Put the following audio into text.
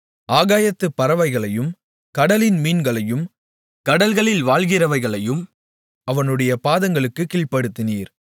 ஆகாயத்துப் பறவைகளையும் கடலின் மீன்களையும் கடல்களில் வாழ்கிறவைகளையும் அவனுடைய பாதங்களுக்குக் கீழ்ப்படுத்தினீர்